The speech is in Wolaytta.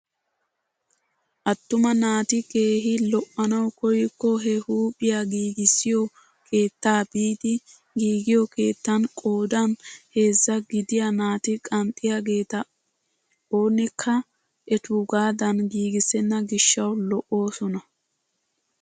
Attuma naati keehi lo"anawu koykko he huuphphiyaa giigissiyoo keettaa biidi giigiyoo keettan qoodan heezzaa gidiyaa naati qanxxiyaageta oonekka etuugadan giigissena giishshawu lo"oosona.